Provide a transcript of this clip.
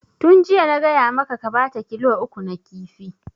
Tun jiya na gaya maka ka bata kilo uku na kifi!